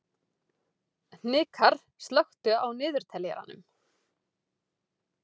Hnikarr, slökktu á niðurteljaranum.